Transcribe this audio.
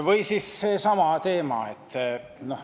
Või siis seesama tööjõu teema.